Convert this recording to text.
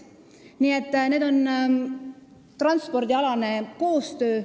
Nii et see on transpordikoostöö.